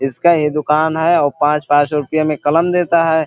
इसका ये दुकान है और पांच-पांच रुपये मे कलम देता है।